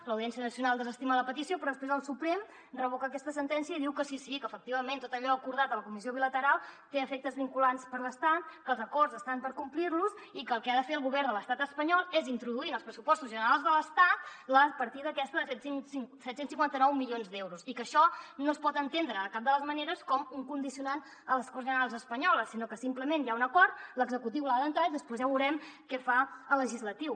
l’audiència nacional desestima la petició però després el suprem revoca aquesta sentència i diu que sí sí que efectivament tot allò acordat a la comissió bilateral té efectes vinculants per l’estat que els acords estan per complir los i que el que ha de fer el govern de l’estat espanyol és introduir en els pressupostos generals de l’estat la partida aquesta de set cents i cinquanta nou milions d’euros i que això no es pot entendre de cap de les maneres com un condicionant a les corts generals espanyoles sinó que simplement hi ha un acord l’executiu l’ha d’entrar i després ja veurem què fa el legislatiu